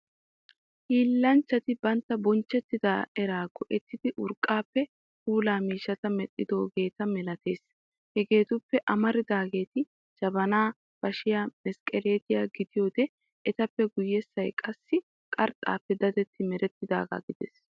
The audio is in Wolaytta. Hiillanchchati bantta bonchchetta eraa go"ettidi urqqaappe puulaa miishshata medhdhidoogeeta malaatees. Hegetuppe amaridaageeti jabanaa, bashiyaa, mesqqeleetiya gidiyoode etappe guyyessay qassi qarxxaappe dadetti merettaagaa gidees.